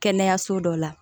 Kɛnɛyaso dɔ la